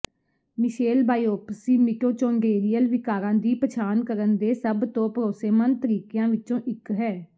Michelle biopsy mitochondrial ਵਿਕਾਰਾਂ ਦੀ ਪਛਾਣ ਕਰਨ ਦੇ ਸਭ ਤੋਂ ਭਰੋਸੇਮੰਦ ਤਰੀਕਿਆਂ ਵਿੱਚੋਂ ਇੱਕ ਹੈ